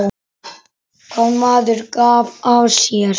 Hvað maður gaf af sér.